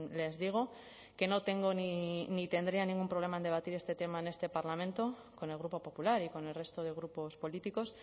les digo que no tengo ni tendría ningún problema en debatir este tema en este parlamento con el grupo popular y con el resto de grupos políticos